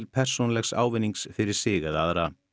persónulegs ávinnings fyrir sig eða aðra